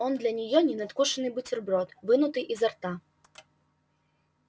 он для неё ненадкушенный бутерброд вынутый изо рта